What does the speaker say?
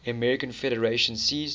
american federation ceased